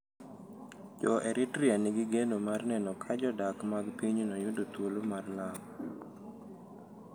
Jo Eritrea nigi geno mar neno ka jodak mag pinyno yudo thuolo mar lamo.